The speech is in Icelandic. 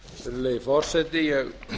virðulegi forseti ég